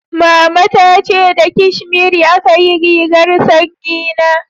Mama ta ce da kashmiri aka yi rigar sanyi na